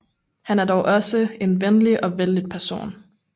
Han er dog også en venlig og vellidt person